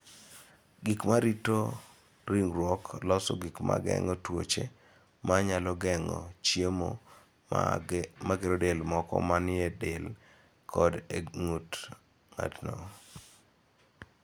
Gik ma rito ringruok loso gik ma geng�o tuoche ma nyalo geng�o chiemo ma gero del moko ma ni e del kod e ng�ut ng�ato.